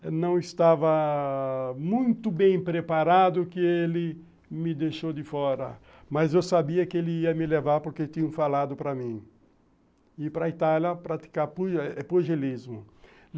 Eu não estava muito bem preparado que ele me deixou de fora, mas eu sabia que ele ia me levar porque tinha falado para mim ir para a Itália praticar pugilismo.